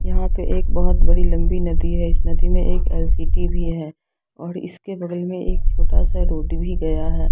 यहाँ पे एक बहुत बड़ी लंबी नदी है इस नदी मे एक अ सिटी भी है और इसके बगल मे एक छोटासा रोड भी गया है।